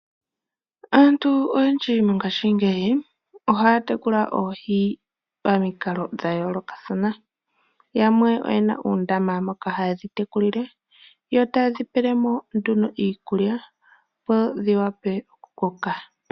Aantu oyendji mongaashingeyi ohaa tekula oohi pamikalo dha yoolokathana. Yamwe oyena uundama moka haye dhi tekulile, yo taye dhi pele mo nduno iikulya opo dhi wape okukoka.